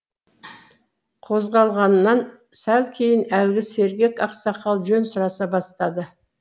қозғалғаннан сәл кейін әлгі сергек ақсақал жөн сұраса бастады